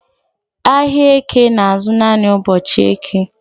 Ahịa Eke na-azụ naanị ụbọchị Eke